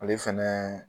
Ale fɛnɛ